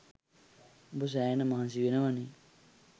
උඹ සැහෙන මහන්සි වෙනවනේ